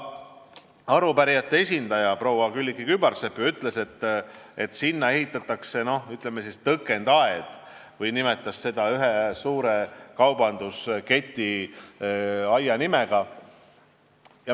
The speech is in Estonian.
Ka arupärijate esindaja proua Külliki Kübarsepp ju ütles, et sinna ehitatakse, ütleme, tõkendaed, või nimetas seda ühe suure kaubandusketi nimega.